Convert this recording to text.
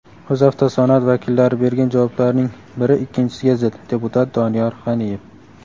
"O‘zavtosanoat" vakillari bergan javoblarning biri ikkinchisiga zid" – deputat Doniyor G‘aniyev.